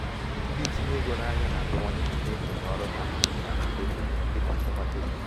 ndị ntinye ego n'ahịa na-abawanye n'ikenye oke ọrụ ha n'akụ tokin dịka um nchekwa tokin.